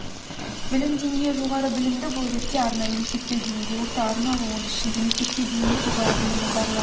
білім деңгейі жоғары білімді бұл ретте арнайы мектепке дейінгі орта арнаулы оның ішінде мектепке дейінгі жоғары білімі барлар